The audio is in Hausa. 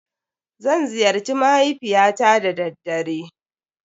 Zan ziyarci mahaifiyata da daddare.